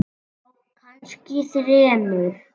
Já, kannski þremur.